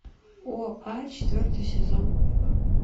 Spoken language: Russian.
оа четвертый сезон